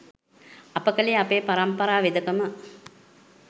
අප කළේ අපේ පරම්පරා වෙදකම